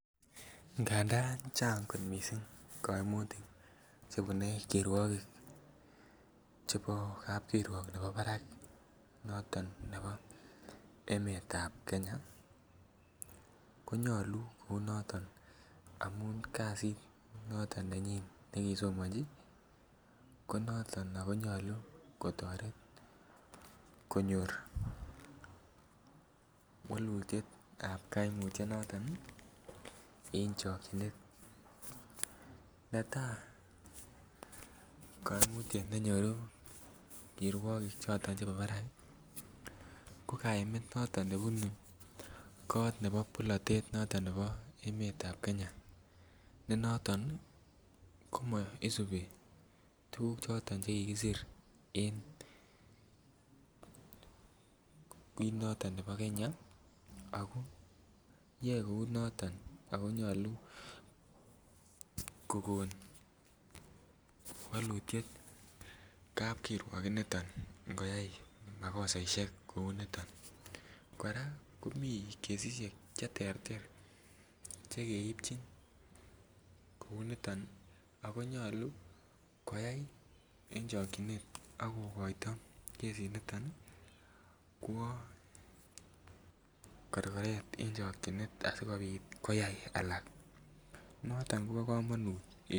Ngadan Chang koimutik che bune kirwogik chebo kapkirwok nebo barak noton nebo emetab Kenya konyoluu kouu noton amun kazit noton nenyin ne kisomoji ko noton ak konyoluu kotoret konyor wolutietab koimutio noton ii en chokyinet. Netaa koimutiet nenyoru kirwogik choton chebo barak ko kaimet noton nebunu kot nebo polotet noton nebo emetab Kenya ne noton komo isubii tuguk choton che kikisir kit noton nebo Kenya, yoe kou noton oo nyoluu kogon wolutiet kapkirwok initon ingiyay makosaishek kouu niton. Koraa komii kesishek che terter che keibjin kouu niton ak konyoluu koyay en chokyinet ako koito kesi niton kwo korgoret en chokyinet asikopit koyay alak. Noton Kobo komonut en